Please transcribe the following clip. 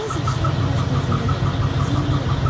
Bəzi işlər biraz gözləyə də bilərdi, ziyanı yoxdur.